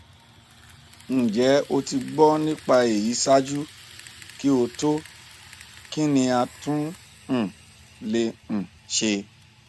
njẹ o ti gbọ nipa eyi ṣaaju ki o to kín ni a tún um lè um ṣe